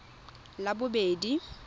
labobedi